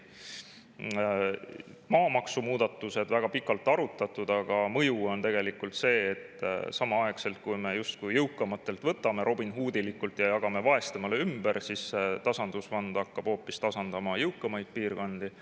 Maamaksumuudatusi on väga pikalt arutatud, aga mõju on tegelikult see, et samal ajal kui me justkui jõukamatelt robinhoodilikult võtame ja jagame vaestele ümber, siis tasandusfond hakkab hoopis tasandama jõukamaid piirkondi.